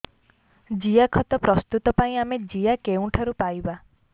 ଜିଆଖତ ପ୍ରସ୍ତୁତ ପାଇଁ ଆମେ ଜିଆ କେଉଁଠାରୁ ପାଈବା